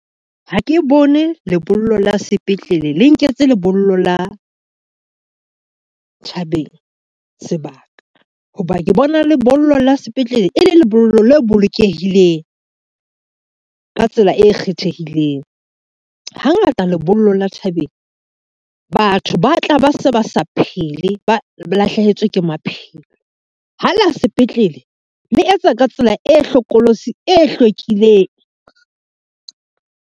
Ha ke bone lebollo la sepetlele, le nketse lebollo la thabeng sebaka, ho ba ke bona lebollo la sepetlele e le lebollo le bolokehileng ka tsela e kgethehileng. Hangata lebollo la thabeng batho ba tla ba se ba sa phele ba lahlehetswe ke maphelo, ha la sepetlele le etsa ka tsela e hlokolosi e hlwekileng.